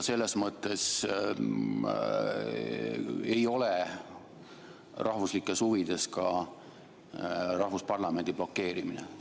Selles mõttes ei ole rahvuslikes huvides ka rahvusparlamendi blokeerimine.